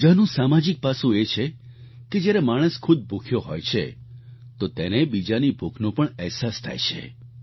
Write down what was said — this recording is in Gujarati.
રોજાનું સામાજિક પાસું એ છે કે જ્યારે માણસ ખુદ ભૂખ્યો હોય છે તો તેને બીજાની ભૂખનો પણ અહેસાસ થાય છે